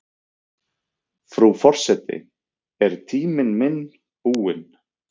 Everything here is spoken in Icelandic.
Frú forseti er tíminn minn búinn?